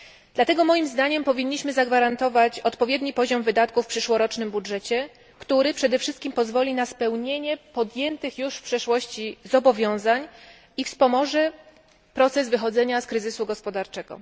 Dlatego, moim zdaniem, powinniśmy zagwarantować odpowiedni poziom wydatków w przyszłorocznym budżecie, który przede wszystkim pozwoli na spełnienie podjętych już w przeszłości zobowiązań i wspomoże proces wychodzenia z kryzysu gospodarczego.